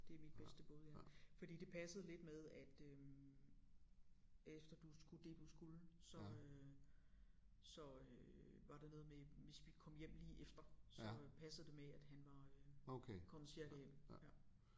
Det mit bedste bud ja fordi det passede lidt med at øh efter du skulle det du skulle så øh så øh var der noget med hvis vi kom hjem lige efter så passede det med at han var øh kommet cirka hjem ja